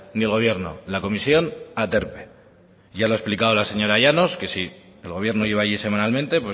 ni gobierno la comisión aterpe ya lo ha explicado la señora llanos que si el gobierno iba ahí semanalmente